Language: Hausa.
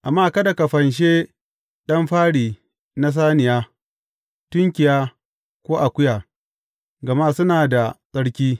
Amma kada ka fanshe ɗan fari na saniya, tunkiya, ko akuya; gama suna da tsarki.